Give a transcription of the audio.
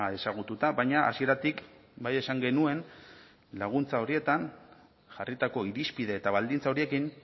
ezagututa baina hasieratik bai esan genuen laguntza horietan jarritako irizpide eta baldintza horiekin